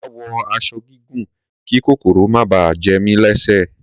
Mà á wọ aṣọ gígùn kí kòkòrò má bà á jẹ mí lẹ́sẹ̀